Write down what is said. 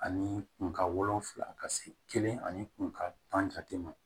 Ani kun ka wolonfila ka se kelen ani kun ka tan ma